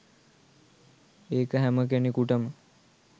ඒක හැම කෙනෙකුටම